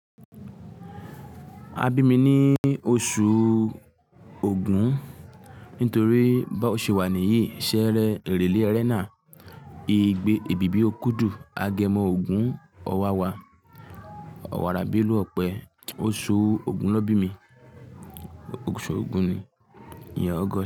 A bí mi ní oṣù ògún nítorí bò ṣe wà níyìí ṣere, èrèlé, erẹnáà, igbe, èbìbí ókúudù, agẹmọ, ògún, ọwàwà, ọwàrà beelu, ọpẹ. Oṣù ògún ni won bí mi, oṣù ògún ni, ìyen August.